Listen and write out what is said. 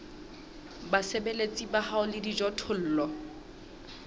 basebeletsi ba hao le dijothollo